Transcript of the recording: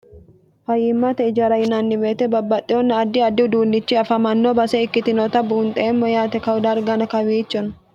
fayiimmate ijara yinanni woyite babbaxxinonna addi addi uduunnichi afamanno base ikkitinota buunxeemmo yaate kau dargino kawiichonno